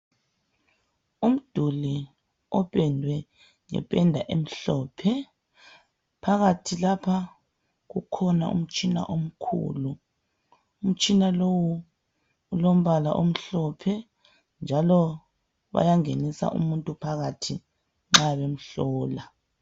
Umduli opendwe ngependa emhlophe phakathi lapha kukhona umtshina omkhulu . Umtshina lowu ulombala omhlophe njalo bayangenisa umuntu phakathi nxa bemhlola.